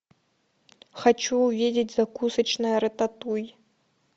хочу увидеть закусочная рататуй